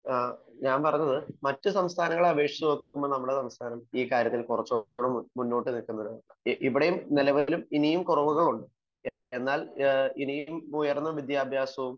ഞാൻ പറഞ്ഞത് മറ്റു സംസ്ഥാനങ്ങളെ അപേക്ഷിച്ചു നോക്കുമ്പോൾ നമ്മുടെ സംസ്ഥാനം കൂടി മുന്നോട്ട് നിൽക്കുന്നത് ഇവിടെയും നിലവിൽ ഇനിയും കുറവുകളുണ്ട് .എന്നാൽ ഇനിയും ഉയർന്ന വിദ്യാഭ്യാസവും